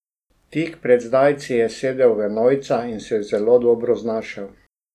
Tik pred zdajci je sedel v enojca in se zelo dobro znašel.